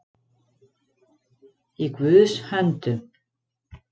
Í Guðs höndum